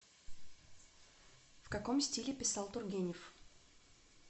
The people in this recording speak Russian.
в каком стиле писал тургенев